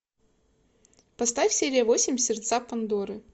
поставь серия восемь сердца пандоры